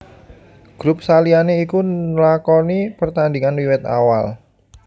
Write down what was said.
Grup saliyane iku nlakoni pertandingan wiwit awal